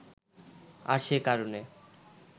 আর সে কারণে